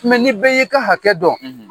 Mɛ ni bɛɛ y'i ka hakɛ dɔn.